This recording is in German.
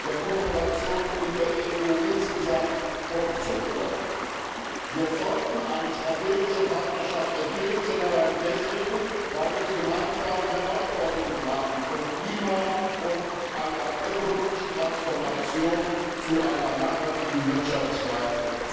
der Kooperation mit der EU insgesamt vorgezogen wird. Wir sollten eine strategische Partnerschaft entwickeln, schon alleine deswegen, weil wir gemeinsame Herausforderungen haben, zum Beispiel vom Klima und einer ökologischen Transformation bis hin zu einer nachhaltigen Wirtschaftsweise.